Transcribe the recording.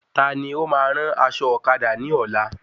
Taani óma rán aṣọ ọ̀kadà náà ni ọ́la